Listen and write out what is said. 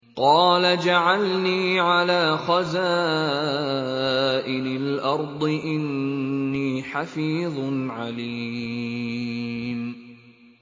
قَالَ اجْعَلْنِي عَلَىٰ خَزَائِنِ الْأَرْضِ ۖ إِنِّي حَفِيظٌ عَلِيمٌ